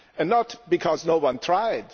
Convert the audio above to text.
Not because no one tried